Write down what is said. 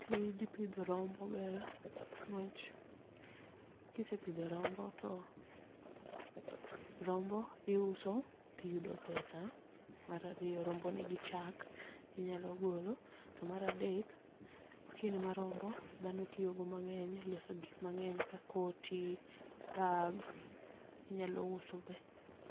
Tij pidho rombo ber, ne wach kisepidho rombo to rombo iuso tiyudo pesa. Mar ariyo, rombo nigi chak, inyalo golo. To mar adek, skin mar rombo dhano tiyogo mang'eny loso gik mang'eny ka koti, bags, inyalo uso be.